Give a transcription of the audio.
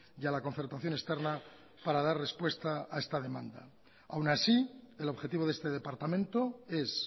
y a la concertación externa para dar respuesta a esta demanda aun así el objetivo de este departamento es